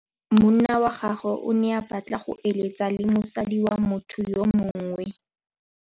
Monna wa gagwe o ne a batla go êlêtsa le mosadi wa motho yo mongwe.